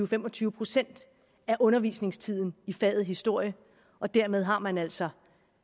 fem og tyve procent af undervisningstiden i faget historie og dermed har man altså